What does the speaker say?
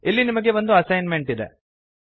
ಇಲ್ಲಿ ನಿಮಗೆ ಒಂದು ಅಸೈನ್ ಮೆಂಟ್ ಇದೆ